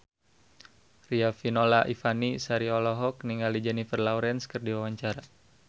Riafinola Ifani Sari olohok ningali Jennifer Lawrence keur diwawancara